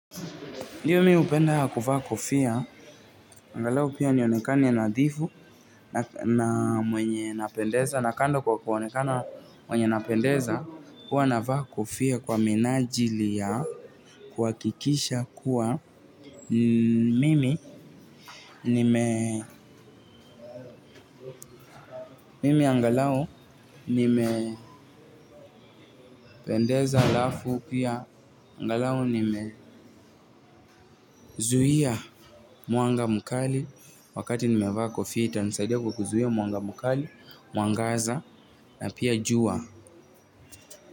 Ndiyo mi hupenda ya kuvaa kofia, angalau pia nionekane nadhifu na mwenye napendeza, na kando kwa kuonekana mwenye napendeza, huwa navaa kofia kwa minajili ya kuhakikisha kuwa mimi, nime, mimi angalau, nimependeza halafu pia, angalau nimezuhia mwanga mukali, wakati nimevaa kofia, itanisaidia kukuzuhia mwanga mkali, mwangaza, na pia jua.